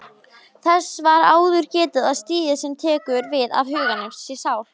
Þess var áður getið að stigið sem tekur við af Huganum sé Sál.